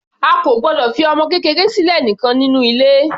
A kò gbọdọ̀ fi ọmọ kékeré sílẹ̀ nìkan nínú ilé.